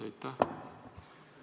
Aitäh!